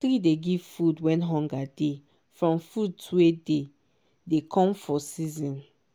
tree dey give food when hunger dey from fruit wey dey dey come for season